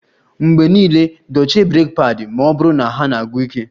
Mgbe niile dochie breeki padi ma ọ bụrụ na ha na-agwụ ike